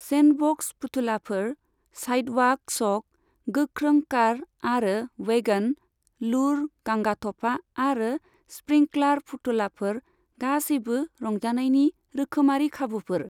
Sandbox फुथुलाफोर, sidewalk chalk, गोख्रों car आरो वैगन, लुर, गांगाथफा आरो स्प्रिंकलार फुथुललाफोर गासैबो रंजानायनि रोखोमारि खाबुफोर।